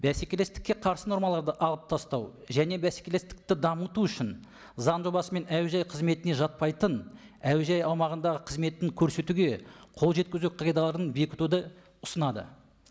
бәсекелестікке қарсы нормаларды алып тастау және бәсекелестікті дамыту үшін заң жобасымен әуежай қызметіне жатпайтын әуежай аумағындағы қызметін көрсетуге қол жеткізу қағидаларын бекітуді ұсынады